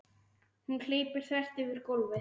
Hún hleypur þvert yfir gólfið.